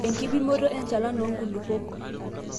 enkipimoto enchalan oo nkulupuok